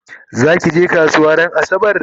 zakije kasuwa ran asabar?